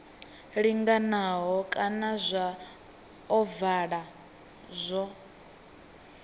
linganaho kana zwa ovala zwo